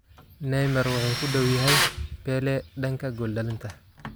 Neymar wuxuu ku dhow yahay Pele danka gool dhalinta.